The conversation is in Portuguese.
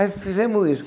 Aí fizemos isso.